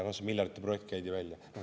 Miljardiprojekt käidi välja.